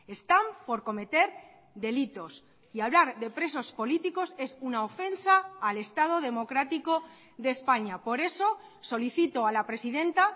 están por cometer delitos y hablar de presos políticos es una ofensa al estado democrático de españa por eso solicito a la presidenta